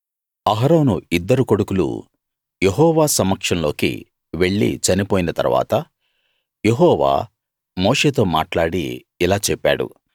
అహరోను ఇద్దరు కొడుకులూ యెహోవా సమక్షంలోకి వెళ్ళి చనిపోయిన తరువాత యెహోవా మోషేతో మాట్లాడి ఇలా చెప్పాడు